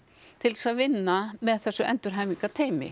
til þess að vinna með þessu